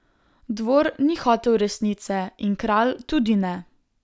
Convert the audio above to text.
Dvor ni hotel resnice in kralj tudi ne.